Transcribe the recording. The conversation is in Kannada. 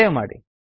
ಸೇವ್ ಮಾಡಿ